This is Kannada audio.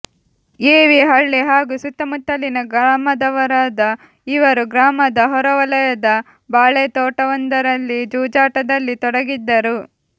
ಎವಿ ಹಳ್ಳಿ ಹಾಗೂ ಸುತ್ತಮುತ್ತಲಿನ ಗ್ರಾಮದವರಾದ ಇವರು ಗ್ರಾಮದ ಹೊರವಲಯದ ಬಾಳೆತೋಟವೊಂದರಲ್ಲಿ ಜೂಜಟದಲ್ಲಿ ತೊಡಗಿದ್ದರು